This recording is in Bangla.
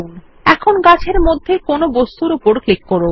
এখন গাছ এর মধ্যে কোনো বস্তুর উপর ক্লিক করুন